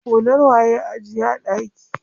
Hular waye a ajiye a ɗaki?